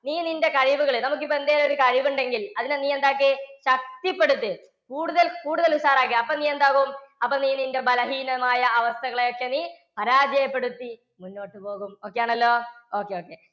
നീ നിന്റെ കഴിവുകളെ, നമുക്കിപ്പോൾ എന്തെങ്കിലുമൊരു കഴിവുണ്ടെങ്കിൽ അതിനെ നീ എന്താക്ക്? ശക്തിപ്പെടുത്ത്. കൂടുതൽ കൂടുതൽ ഉഷാറാക്കിയേ. അപ്പോൾ നീ എന്താവും? അപ്പോൾ നീ നിൻറെ ബലഹീനമായ അവസ്ഥകളെ ഒക്കെ നീ പരാജയപ്പെടുത്തി മുന്നോട്ടു പോകും. okay ആണല്ലോ. okay, okay